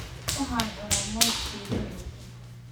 Waxaan cunaa moos shiilan iyo ukun.